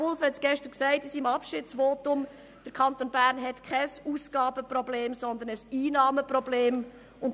Pulver erwähnte in seinem Abschiedsvotum, dass der Kanton Bern nicht ein Ausgaben-, sondern ein Einnahmenproblem habe.